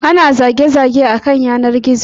An zazzage ta a kan yanar gizo.